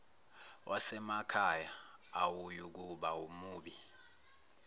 wasemakhaya awuyukuba mubi